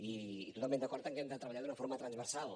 i totalment d’acord en que hem de treballar d’una forma transversal